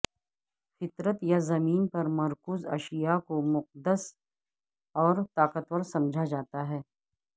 فطرت یا زمین پر مرکوز اشیاء کو مقدس اور طاقتور سمجھا جاتا ہے